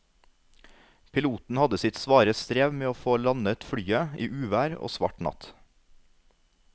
Piloten hadde sitt svare strev med å få landet flyet i uvær og svart natt.